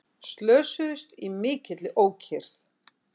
Slösuðust í mikilli ókyrrð